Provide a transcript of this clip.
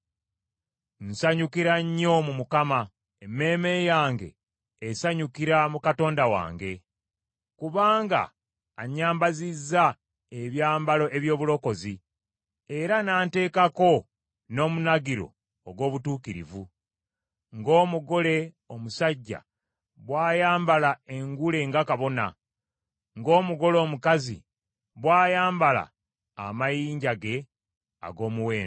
Nsanyukira nnyo mu Mukama , emmeeme yange esanyukira mu Katonda wange. Kubanga annyambazizza ebyambalo eby’obulokozi era n’anteekako n’omunagiro ogw’obutuukirivu, ng’omugole omusajja bw’ayambala engule nga kabona, ng’omugole omukazi bw’ayambala amayinja ge ag’omuwendo.